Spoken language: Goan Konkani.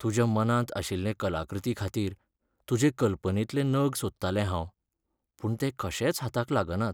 तुज्या मनांत आशिल्ले कलाकृतीखातीर तुजे कल्पनेंतले नग सोदतालें हांव, पूण ते कशेच हाताक लागनात.